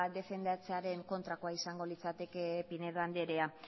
defendatzearen kontrakoa izango litzateke pinedo andrea